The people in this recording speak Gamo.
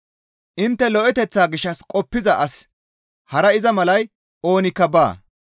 Intte lo7eteththaa gishshas qoppiza asi hara iza malay oonikka baa.